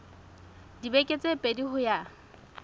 dibeke tse pedi ho ya